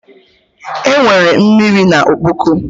Enwere mmiri na ọkpọkọ